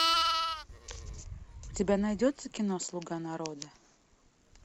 у тебя найдется кино слуга народа